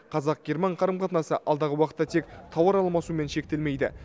қазақ герман қарым қатынасы алдағы уақытта тек тауар алмасумен шектелмейді